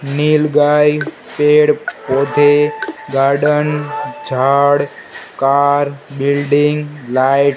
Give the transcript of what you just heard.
नील गाय पेड़ पौधे गार्डन झाड़ कार बिल्डिंग लाइट --